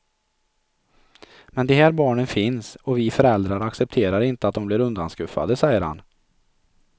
Men de här barnen finns och vi föräldrar accepterar inte att de blir undanskuffade, säger han.